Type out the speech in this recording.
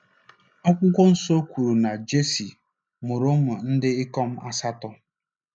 Akwụkwọ Nsọ kwuru na Jesi “ mụrụ ụmụ ndị ikom asatọ.